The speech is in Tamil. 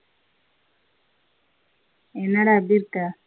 என்னட எப்படி இருக்க.